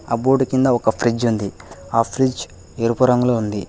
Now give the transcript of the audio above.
Cupboard కింద ఒక fridge ఉంది ఆ ఫ్రిడ్జ్ ఎరుపు రంగులో ఉంది.